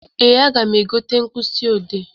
Ee, aga m egote mkpịsị ọdee.